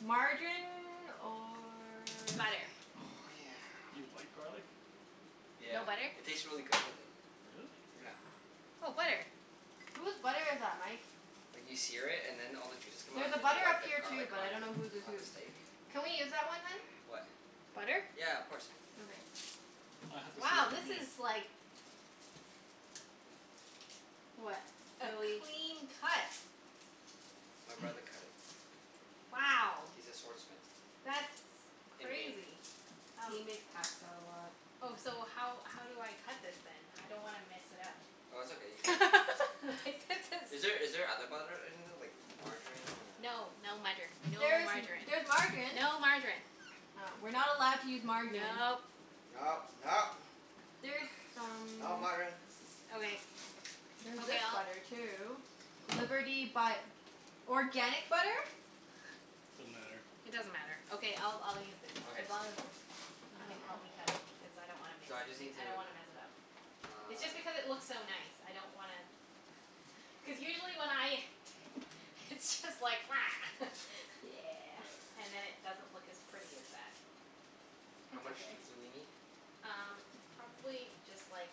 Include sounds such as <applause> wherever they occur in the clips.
margarine or Butter. Oh yeah. You wipe garlic? Yeah. No butter? It tastes really good with it. Really? Yeah. Oh, butter. Whose butter is that, Mike? Like, you sear it and then all the juices come out, There's a and then you butter wipe up the here too, garlic but I on don't know whose is on the whose. steak. Can we use that one, hun? What? Butter? Yeah, of course. Okay. I have to see what Wow, you this mean. is like What? a Really clean cut. My brother <noise> cut it. Wow. He's a sword smith. That's In game. crazy. Um He makes pasta a lot. Oh, so how how do I cut this then? I don't wanna mess it up. Oh, it's okay. You can <laughs> <laughs> Like, this Is there is is there other butter in there, like margarine or No, no mutter. No There is m- margarine. there's margarine. No margarine. Oh. We're not allowed to use margarine. Nope. No, no! There's Not some margarine. Okay. There's Okay, this I'll butter too. Liberty but organic butter? Doesn't matter. It doesn't matter. Okay, I'll I'll use this. Okay, As long sounds as good. you I can don't know. help me cut it. Because I don't wanna miss So I just n- need I don't to wanna mess it up. It's just Uh. because it looks so nice. I don't wanna <laughs> Cuz usually when I t- it's just like <noise> <laughs> Yeah. Uh. And then it doesn't look as pretty as that. How That's much okay. do do we need? Um, probably just like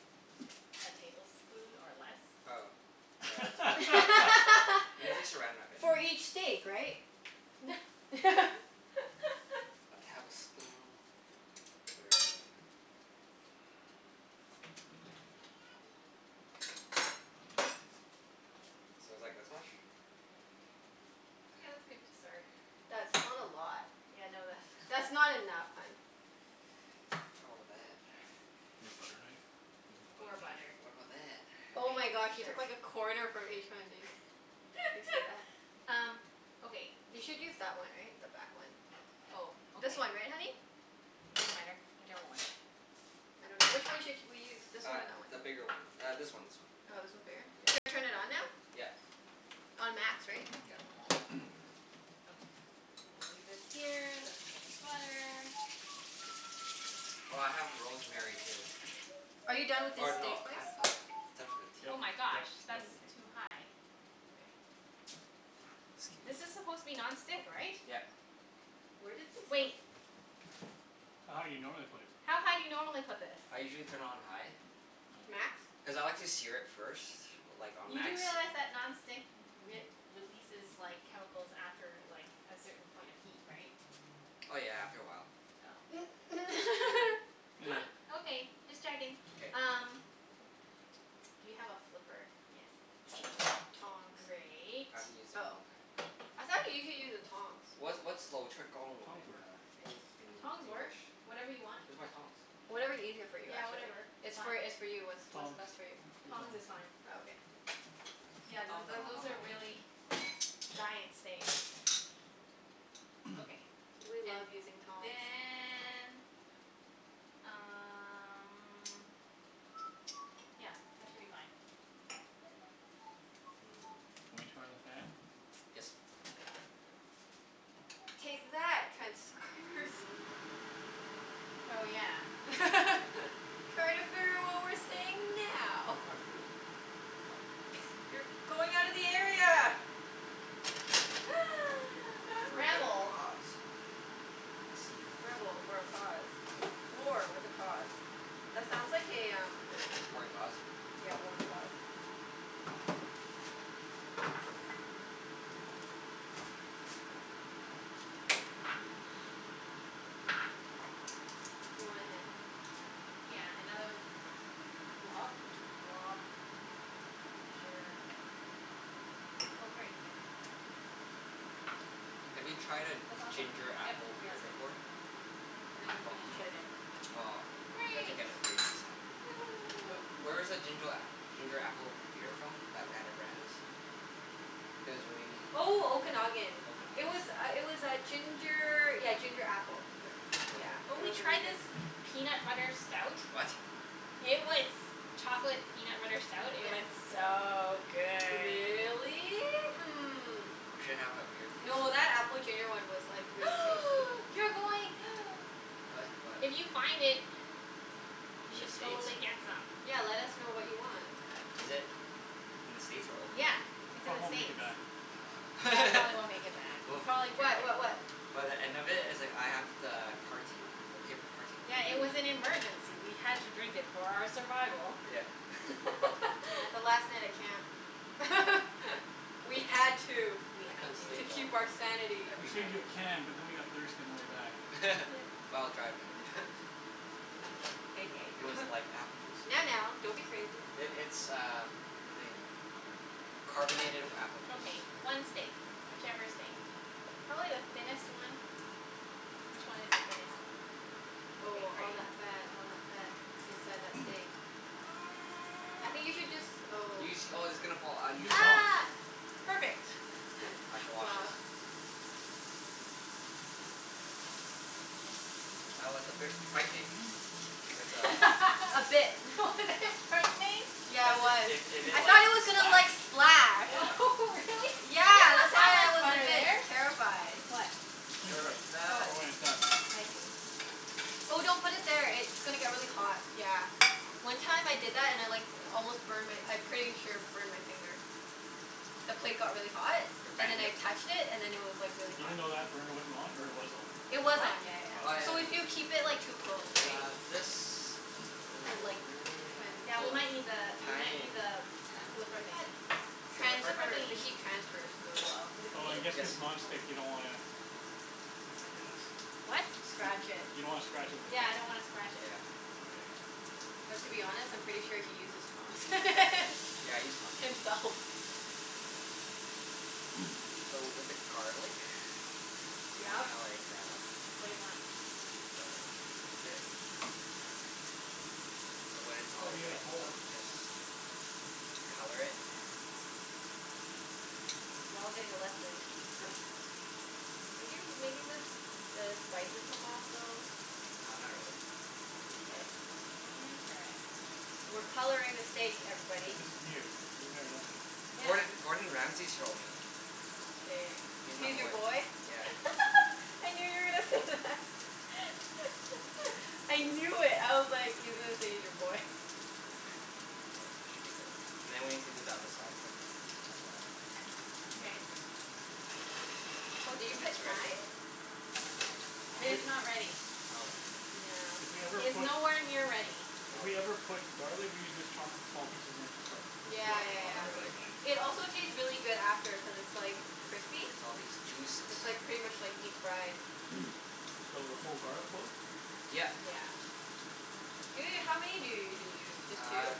a tablespoon, or less. Oh, yeah, that's okay. <laughs> We need to <laughs> Saran Wrap it For anyway. each steak, right? <laughs> <laughs> A tablespoon. Sure. So it's like this much? Yeah, that's good to start. That's not a lot. Yeah, no That's that's not not <laughs> enough, hun. Oh, but that <noise> You have butter knife? You could use Poor butter knife. butter. What about that? Oh my gosh, Okay, you sure. took like a corner from each one, dude. Do you see that? <laughs> Um, okay You th- should <noise> use that one, right? The back one. Oh, okay. This one, right honey? It doesn't matter. Whichever one. I dunno. Which one should sh- we use? This one Uh, or that one? the bigger one. Uh, this one, this one. Oh, this one's bigger? Yeah, Should yeah. I turn it on now? Yeah. On max, right? Yeah. <noise> Okay. We'll leave this here. That's for the butter. Oh, I have rosemary too. Are you done with this Or steak no, I have spice? uh, starts with <noise> a t. Oh Yep my gosh, yep yep. that's Mkay. too high. Okay. This Scuse. is supposed to be non-stick, right? Yep. Where did this of- Wait. How high you normally put it? How high do you normally put this? I usually turn it on high Oh. Max? cuz I like to sear it first. Like on You do max. realize that non-stick w- we- releases like, chemicals after like, a certain point of heat, right? Oh yeah, after a while. Oh, okay. Meh. <laughs> Okay, just checking. K. Um Do you have a flipper? Yes. Tongs. Great. I haven't used it in a Oh, long time. I thought usually you use the tongs? What's what's <inaudible> in uh Tongs work. En- in Tongs work. English? Whatever you want. Where's my tongs? Whatever's easier for you, Yeah, actually. whatever. It's It's fine. for, it's for you. It's what's Tongs. best for you. Use Tongs tongs. is fine. Oh, okay. Yeah, Tong th- to- th- tong those tong are tong. really giant steak. <noise> <noise> Okay. We And love using tongs. then um <noise> Yeah, that should be fine. Mmm. <noise> Wanna turn on the fan? Yes. Take that, <noise> transcribers. Oh yeah. <laughs> Try to figure out what we're saying now. Where's my broom? Oh. You're going outta the area! <noise> For a good <laughs> Rebel. cause. I see. Rebel for a cause. War with a cause. That sounds like a um War and cause? Yeah, war and cause. You want a hand? Yeah, another Glub? glob. Sure. Oh, great. Have you tried a That's awesome. ginger Yep. apple No, beer that's good. before? And then you From, can just No. put it in. aw, we have to Great. get it for you next time. Wh- Woohoo. where's the ginger a- ginger apple beer from, that we had at Brandi's? It was really Oh, Okanagan. It Okanagan? was uh it was uh ginger, yeah ginger apple. Yeah. Really Yeah, good. Oh, it we was really tried Hmm. this good. peanut butter stout. What? It was chocolate peanut butter stout. It was Yeah. so good. Really? Hmm. We should have a beer tasting. No, that apple ginger one was like, really tasty. <noise> You're going <noise> What? What? If you find it we In the should States? totally get some. Yeah, let us know what you want. Is it in the States or Yeah, Okanagan? It it's in the probably won't make States. it back. Yeah, it probably won't make it back. You'll Oh. <laughs> probably drink What? it. What what? By the end of it, it's like I have <noise> the carton. The paper carton for Yeah, it you. was <noise> an emergency. We had to drink it for our survival. Yeah. Yeah, the <laughs> last night at camp. <laughs> We had to. We I had couldn't To sleep to. for, keep our sanity. We every saved night. you a can but then we got thirsty on the way back. <laughs> While driving. <laughs> <laughs> <laughs> Hey, It was hey. like <laughs> apple juice. Now, now, don't be crazy. I- it's uh what they, carbonated apple juice. Okay, one steak. Whichever steak. Probably the thinnest one. Which one is the thinnest one? Okay, Oh, great. all that fat, all that fat K. inside that steak. <noise> I think <noise> you should jus- oh. You sh- oh, it's gonna fall. Uh, you Use the tongs. sh- Ah! Perfect. Okay. I shall <laughs> wash Wow. this. That was a bit frightening. With a <laughs> A <laughs> bit. <laughs> Was <noise> it <noise> frightening? Yeah, Cuz it it was. it it <noise> I it like thought it was gonna splash like, splash. Yeah. <laughs> Really? Yeah, that's why I was a bit <noise> <inaudible> terrified. What? It's clean plate. Terrified. Oh, For when it's done. I see. Oh, don't put it there. It's gonna get really hot. Yeah. One time I did that and I like almost burned my, I pretty sure burned my finger. The plate got really hot Your and then fan I did. touched it, and then it was like really hot. Even though that burner wasn't on, or it was on? It was What? on, yeah yeah Oh, Oh yeah. yeah, So I okay. if you know. keep it like too close, And right? uh this. <noise> Is it But like rosemary that tran- I, Yeah, we oh, might need the, we might thyme. need the flipper I thought thingie. Thyme <inaudible> The The ripper? flipper transfers. The thingie. heat transfers really well. Is it Oh, clean? I guess Yes. cuz Okay. non-stick you don't wanna I guess. What? You d- Scratch it. you don't wanna scratch it with the Yeah, I tongs. don't wanna scratch it. Yeah. Okay. But to be honest, I'm pretty sure he uses prongs. <laughs> Yeah, I use tongs. Himself. <noise> So w- with the garlic you Yeah? wanna like, uh What do you want? Garlic. Is it So when it's Oh, all you do wet it and whole. stuff you just color it. We're all getting a lesson. <laughs> Are you making the s- the spices come off a little? No, not really. Mkay. Interesting. We're coloring the steak, Yeah, everybody. this is new. We've never done this. Yeah. Gord- Gordon Ramsey showed me. K. He's my He's your boy. boy? Yeah. <laughs> I knew you were gonna say that. <laughs> I knew it. I was like, he's gonna say he's your boy. There. Should be good. And then we have to do the other side quickly, as well. Mkay. <inaudible> Oh, did you put thyme? <inaudible> It If is w- not ready. Okay. Yeah. If we ever It is put nowhere near ready. If we ever Okay. put garlic, we usually just chop it in small pieces and then just like Yeah rub it yeah Oh on, yeah. but really? like It also taste really good after cuz it's like crispy. Look at all these juices. It's like pretty much like deep fried. <noise> So, the whole garlic clove? Yeah. Yeah. Yeah. Ju- how many do you usually use? Uh Just two? uh,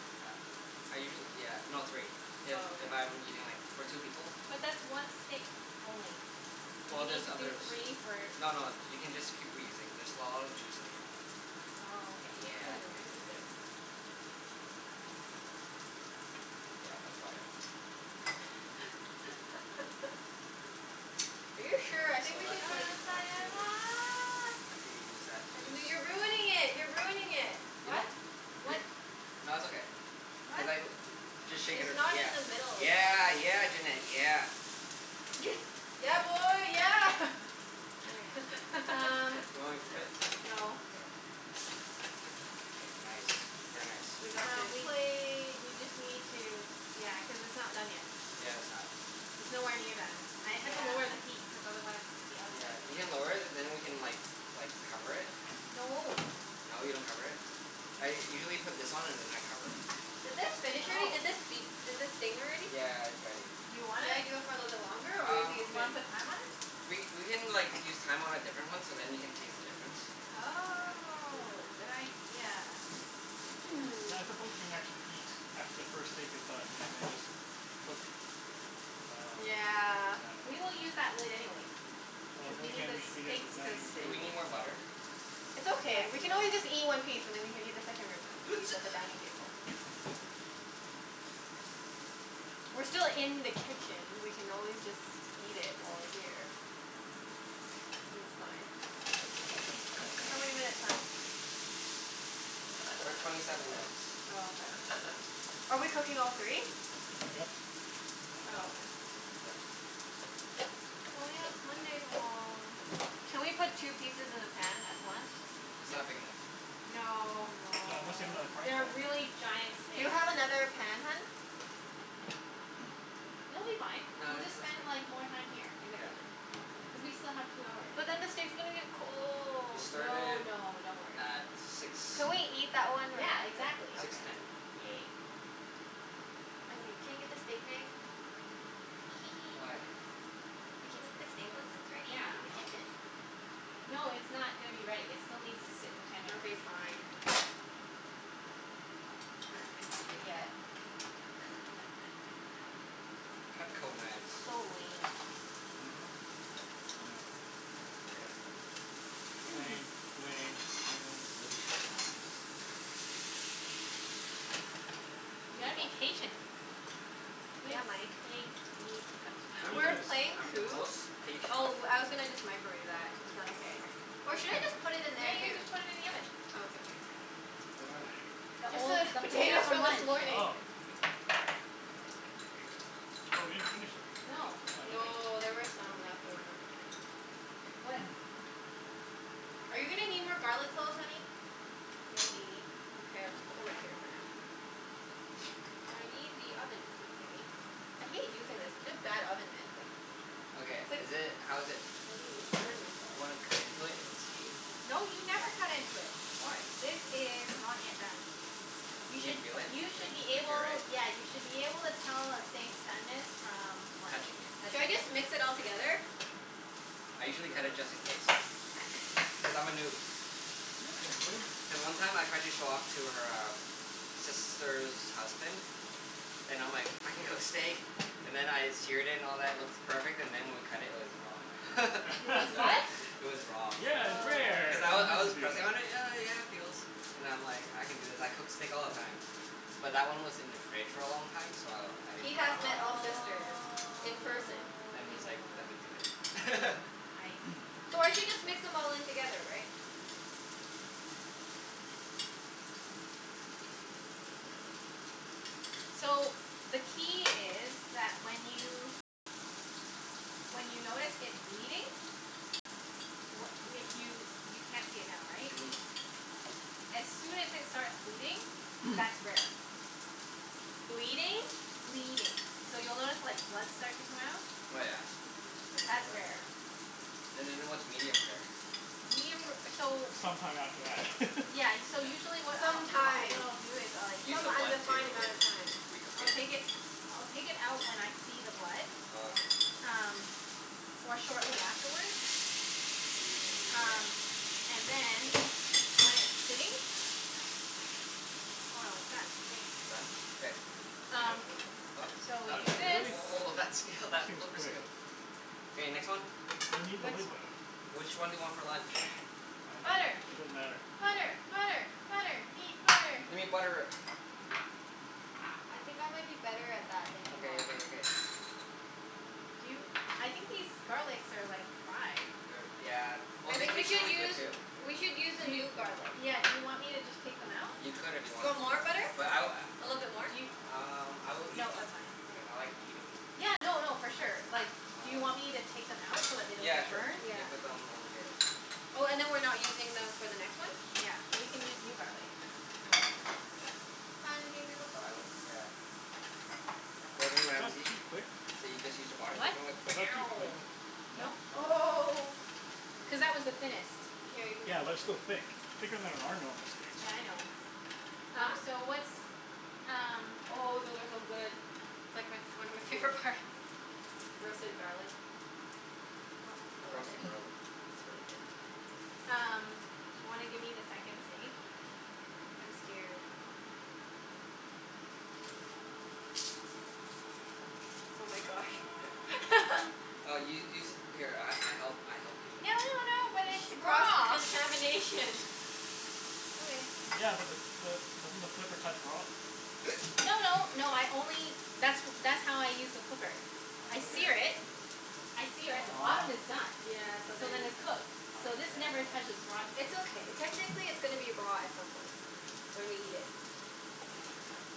I usuall- yeah, no, three. If Oh, okay. if I'm eating like, for two people. But that's one steak only. You Well need there's to do others. three for No no, you can just keep reusing. There's a lot of juice in here. Oh, okay. Yeah. Hmm, interesting. Yeah, that's about it. <laughs> <noise> Are you So sure? I think we No let's should no, do like it's not side two. <noise> I could use that piece. N- no you're ruining it! You're ruining it! Really? What? What <laughs> Wh- nah, it's okay. Cuz What? I l- just shake it It's ar- not in the middle yeah, anymore. yeah. Yeah, Junette, yeah. <noise> Yeah, boy, yeah! <laughs> Okay, um Do you want me to flip it? No. K. K, nice. Very nice. We got Um, the we plate. we just need to, yeah, cuz it's not done yet. Yeah, it's not. It's nowhere near done. I had to lower the Yeah. heat cuz otherwise the Yeah. outside was You gonna can get lower it and then we can like like cover it. No. No, you don't cover it? I usually put this on and then I cover it. <noise> Did this finish already? Oh. Did this beep? Did this ding already? <noise> Yeah, it's ready. Do you want Should I it? do it for a little longer or you Um, think Do it's you wanna good? put thyme on it? we we can like, use thyme on a different one so then you can taste the difference. Yeah. Oh, good Mm. idea. Yeah, I <noise> suppose we can actually eat after the first steak is done, and then just cook I dunno. Yeah. I We will dunno. use that lid anyway Oh, cuz then we need again the we should be at the steaks to dining room sit. Do we table, need more so butter? It's Yes, okay. We we can will. always just eat <inaudible> one piece and then we can eat the second room a- piece at the <noise> dining table. We're still in the kitchen. We can always just eat it while we're here. Mm. Think it's fine. How many minutes, hun? We're at twenty seven minutes. Oh, okay. Are we cooking all three? Yep. Might as Oh, well. okay. Yep. Oh yeah, it's Monday tomorrow. Can we put two pieces in the pan at once? N- it's not Nope. big enough. No. Not unless you have another Aw. frying pan? They're really giant Do you steaks. have another pan, hun? <noise> It'll be fine. No, We'll it's it's just okay. spend like, more time here in the Yeah. kitchen. Cuz Okay. we still have two hours, But then the anyway. steak's gonna get We cold. No started no, don't worry. at six, Can we <noise> eat that one Yeah, right after? exactly. six Okay, ten. yay. I'm g- can you get the steak knife? Hee hee hee. Why? We can Cuz eat the w- stake once wh- it's ready w- in the yeah. Oh. kitchen. No, it's not gonna be ready. It still needs to sit for ten minutes. Okay, fine. One. We don't get to <laughs> eat it yet. <laughs> Cutco knives. So lame. Mhm. Yep. I know. Everything's Here. lame. Lame. <noise> Lame. These Lame. are really sharp knives. I'm You gotta gonna be wash mine. patient. Good Yeah, Mike. steaks need What <laughs> I'm is We the, were this? patience. playing I'm the Coup. most patient. Oh, I was gonna just microwave that. Is that okay? Or should I just <noise> put it in Yeah, there, you can too? just put it in the oven. Oh, okay. Here. What are they? The Just old, the the potatoes potatoes from from this lunch. morning. Oh. Oh, we didn't finish them. No. Oh, okay. No, there were some left over. What <noise> Are you gonna need more garlic cloves, honey? Maybe. Okay, I'll just put them right here for now. <noise> I need the oven thingie. I hate using this. It's such a bad oven mitt, like Okay, It's like, is feel it, how like is it? I'm Do gonna w- burn wanna cut myself. into it and see? Yeah. No, you never <inaudible> cut into it. Why? This is not yet done. You You can should, feel it? you should be Like, <inaudible> right? able, yeah, you should be able to tell a steak's doneness from like, Touching it. Should I touching it. just mix it all K. together? I usually cut it Sure. just in case. Cuz I'm a noob. You're a noob? Then one time I tried to show off to her um sister's husband and I'm like, "I can cook <inaudible> steak." And then I seared it and all that, it looks perfect. And then when we cut it, it was raw. <laughs> It was what? <laughs> It was raw. Yeah, it's Oh. rare! Cuz I I w- was meant I to was do that. pressing on it, and yeah, yeah it feels. And I'm like, I can do this. I cook steak all the time. But that one was in the fridge for a long time, so I didn't He think has met Ah. all of that. sisters in person. Then he's like, "Let me do Oh. it." <laughs> I <noise> So I should see. just mix them all in together, right? Hmm. So, the key is that when you, when you notice it bleeding wh- if you, you can't see it now, right? Mhm. As soon as it starts bleeding, that's <noise> rare. Bleeding? Bleeding. So, you'll notice like, blood start to come out. Oh yeah? Mm. I didn't know That's that. rare. And then what's medium rare? Medium ra- so It's some time after that. <laughs> Yeah, y- so Mkay. usually what I'll, Some what I, what time. I'll do is like Use Some the blood undefined to amount of time. recook I'll take it? it, I'll take it out when I see the blood. Oh, okay. Um, or shortly afterward. Ooh, yeah. Um, and then when it's sitting Oh no, it's done. Mm. It's done? K. Um, so What? Oh, we What, do this. really? oh, <noise> that skill, that That seems flipper quick. skill. K, next one. We need the Next lid, one. though. Which one do you want for lunch? I don't care. Butter. It doesn't matter. Butter! Butter! Butter! Need butter. We need butter. I think I might be better at that than you Okay are. okay okay. Do you, I think these garlics are like, fried. They're, yeah, well I they think we taste should really good use too. We should use a Do y- new garlic. yeah, do you want me to just take them out? You could if you You wanted. want more butter? But I w- A little bit more? Do yo- a- um I will eat No, them. that's fine. I Okay. like eating them. Yeah, no no, for sure. Like do you Um, y- want me to take them out so that they don't yeah get sure. burned? You Yeah. can put them on here. Oh, and then we're not using them for the next one? Yeah, we can use new garlic. Ah, okay. Hun? Do you do the garlic? Yeah. Gordon Was that Ramsay. too quick? So you just use a body <inaudible> What? Was that too quick? No? No? Oh. Cuz that was the thinnest. Here, you can get Yeah, but more that's from still here. thick. Thicker than our normal steaks. Yeah, I know. Huh? Um, so what's um Oh, those are so good. It's like my f- one of my favorite parts. Roasted garlic. What I love it. Roasted <noise> garlic. It's really good. Um, do you wanna give me the second steak? I'm scared. Oh my gosh. <noise> <laughs> Uh u- use it, here I I help, I help you. No no no, but She, it's cross raw! contamination. Okay. Yeah, but the the, doesn't the flipper touch raw? No no, no <noise> I only that's w- that's how I use the flipper. I sear Okay. it I sear it. The bottom is uh-huh. done. Yeah, so So then then it's cooked. I So guess. this never touches raw side. It's okay. Technically it's gonna be raw at some point. When we eat it.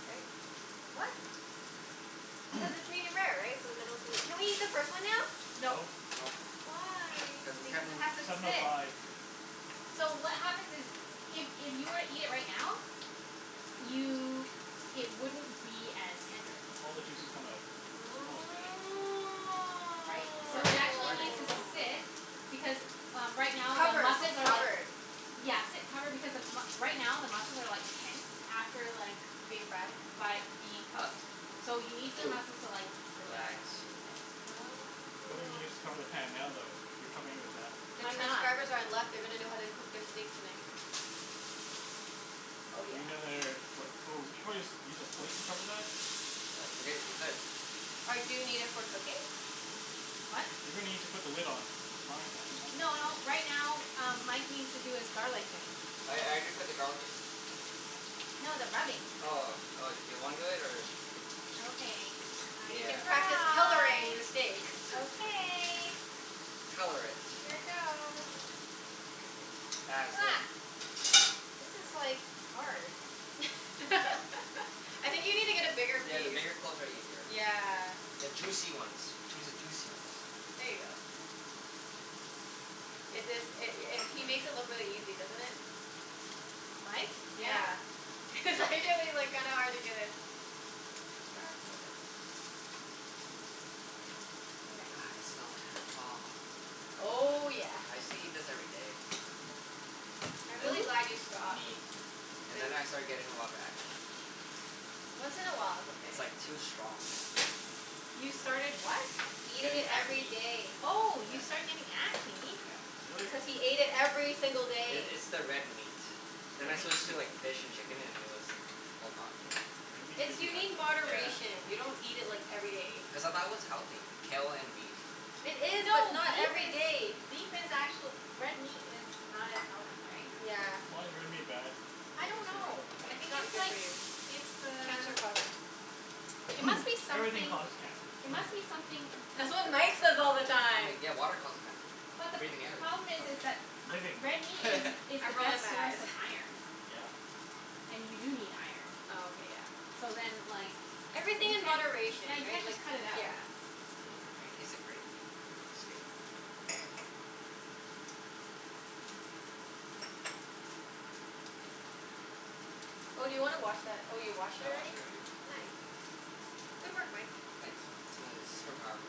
Right? What? Cuz <noise> it's medium-rare, right? So the middle's gonna Can we eat the first one now? No. No. Nope. Why? Cuz the Because temper- it has to Seven oh sit. five. So what happens is if if you were to eat it right now you, it wouldn't be as tender. All the juices come out. Supposedly. Right? You're So it learning. You're actually learning. needs to sit Oh. because, uh right now the Covered. muscles Sit are like covered. Yeah, sit covered. Because the m- right now the muscles are like tense. After like Being fried? by being cooked. So you need the <noise> muscles to like, Relax. relax and loosen. Why don't Oh. you just cover the pan now though, if you're covering it with that? The I'm not. transcribers are in luck. They're gonna know how to cook their steaks tonight. Oh Do yeah. we need another, what? Oh, we should probably just use a plate to cover that? Uh, we h- we could. Or do you need it for cooking? What? You're gonna need to put the lid on, on the frying pan at some N- point, no, right? right now um <noise> Mike needs to do his garlic thing. I I Oh. did put the garlic in. No, the rubbing. Oh, oh. Do you wanna do it, or Okay, I You can can Yeah. practice coloring try. the steak. <laughs> Okay. Color it. Here goes. As Ha. if. This is like, hard. <laughs> <laughs> I think you need to get a bigger Yeah, piece. the bigger cloves are easier. Yeah. The juicy ones. Choose a juicy ones. There ya go. It is, it i- it he makes it look really easy, doesn't it? Mike? Yeah. Yeah. It's actually like kinda hard to get a grasp of it. Okay. Ah, I can smell it. Aw. Oh yeah. I used to eat this every day. And I'm then, really <inaudible> glad you stopped. me. And then Then I started getting a lot of acne. Once in a while it's okay. It's like, too strong, you know? You started what? Eating Getting it every acne. day. Oh, Yeah. you started getting acne? Yeah. Really? Cuz he ate it every single I- day. it's the red meat. Then I Red meat Yeah. switched gives to you like fish and chicken and it was all gone. Yeah. Red meat It's, gives you you need acne? Yeah. moderation. You don't eat it like, every day. Cuz I thought it was healthy, kale and beef. It is, but No, not beef every is, day. beef is actuall- Red meat is not as healthy, right? Yeah. Why is red meat bad? I I don't didn't say it know. wasn't I bad. It's think not it's good for like, you. it's the Cancer causing. it must be <noise> Everything something causes cancer. it must be <laughs> something That's what Mike says all the I'm time. like, yeah, water causes cancer. But the p- Breathing air problem is, causes is cancer. that Living. a- red meat is <laughs> is the I'm best rolling my source eyes. <laughs> of iron. Yeah. And you do need iron. Oh, okay. Yeah. So then, like Everything you in can't, moderation, yeah, you right? can't Like, just cut it out. yeah. Mmm, I can taste the grape skin. Oh, do you wanna wash that, oh you washed it I washed already? it already. Nice. Good work, Mike. Thanks. It's my super power.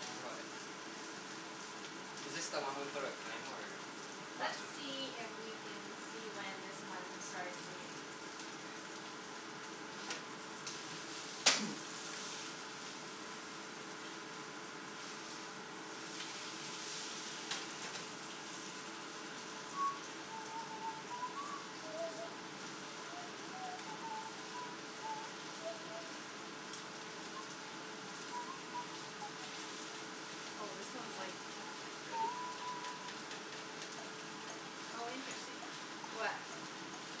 Don't worry about it. Is this the one we put on thyme, or Let's last one? see if we can see when this one starts bleeding. K. <noise> <noise> Oh, this one's like Ready? <noise> Oh, interesting. What?